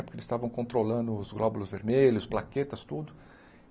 Porque eles estavam controlando os glóbulos vermelhos, plaquetas, tudo.